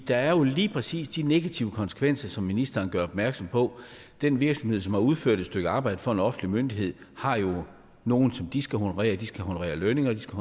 der er jo lige præcis de negative konsekvenser som ministeren gør opmærksom på den virksomhed som har udført et stykke arbejde for en offentlig myndighed har jo nogle som de skal honorere de skal honorere lønninger de skal